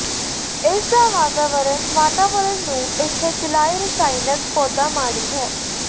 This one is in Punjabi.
ਇਸ ਦਾ ਵਾਤਾਵਰਣ ਵਾਤਾਵਰਣ ਨੂੰ ਇੱਥੇ ਚਲਾਈ ਰਸਾਇਣਕ ਪੌਦਾ ਮਾੜੀ ਹੋ